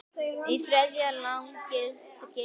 Í þriðja lagi skyldi